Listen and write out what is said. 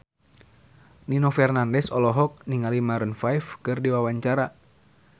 Nino Fernandez olohok ningali Maroon 5 keur diwawancara